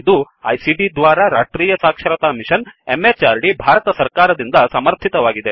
ಇದು ಐಸಿಟಿ ದ್ವಾರಾ ರಾಷ್ಟ್ರೀಯ ಸಾಕ್ಷರತಾ ಮಿಶನ್ ಎಂಎಚಆರ್ಡಿ ಭಾರತ ಸರ್ಕಾರ ದಿಂದ ಸಮರ್ಥಿತವಾಗಿದೆ